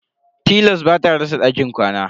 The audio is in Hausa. Tilas bata rasa dakin ƙwana.